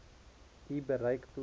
u bereik plaas